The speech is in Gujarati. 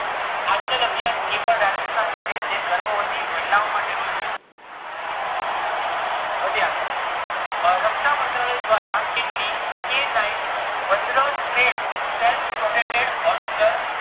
અચલ અભિયાન એ પણ રાજસ્થાન નું છે જે ગર્ભવતી મહેલાઓ માટે નું છે વધીએ આગળ રક્ષા મંત્રાલય દ્વારા કેટલી k nine vajra tracked self-propelled howitzer